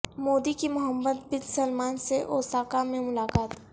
مودی کی Mohammed bin Salman سے Osaka میں ملاقات